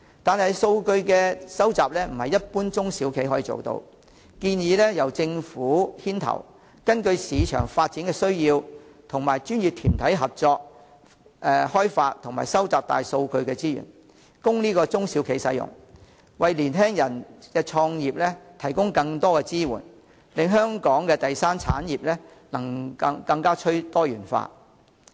但是，數據收集非一般中小企可以做到，我建議由政府牽頭，根據市場發展需要，與專業團體合作開發及收集大數據資源，供中小企使用，為青年人的創業提供更多支援，令香港的第三產業更趨多元化。